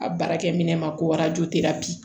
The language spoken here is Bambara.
A baarakɛminɛn ma ko